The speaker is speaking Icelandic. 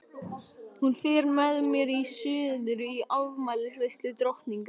Hún fer með mér suður í afmælisveislu drottningar.